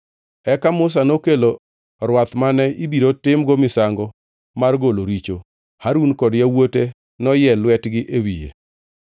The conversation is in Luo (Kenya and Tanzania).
Eka Musa nokelo rwath mane ibiro timgo misango mar golo richo, Harun kod yawuote noyie lwetgi e wiye.